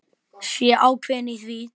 Sé ákveðin í því.